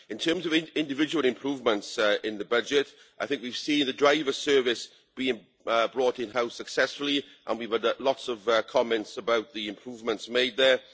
In terms of individual improvements in the budget, we've seen the driver service being brought in house successfully, and we've had lots of comments about the improvements made there.